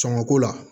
Sɔngɔ ko la